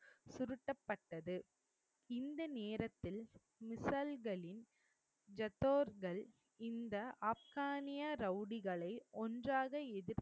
பட்டது. இந்த நேரத்தில் மிஷல்களின் ஜத்தோர்கள் இந்த ஆப்கானிய ரௌடிகளை ஒன்றாக எதிர்